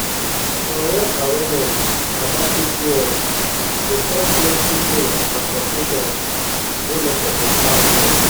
correct awareness about pcos go stop plenty pain and confusion wey no suppose happen.